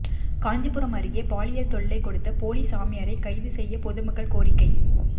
காஞ்சிபுரம் அருகே பாலியல் தொல்லை கொடுத்த போலி சாமியாரை கைது செய்ய பொதுமக்கள் கோரிக்கை